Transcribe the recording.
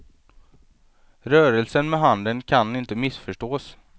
Rörelsen med handen kan inte missförstås.